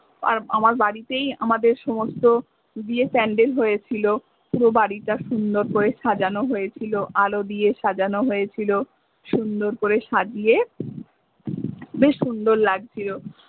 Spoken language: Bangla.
আমার বাড়িতেই আমাদের সমস্ত আমাদের বিয়ের প্যান্ডেল হয়েছিলো পুরো বাড়িটা সুন্দর করে সাজানো হয়েছিলো আলো দিয়ে সাজানো হয়েছিলো সুন্দর করে সাজিয়ে বেশ সুন্দর লাগছিলো।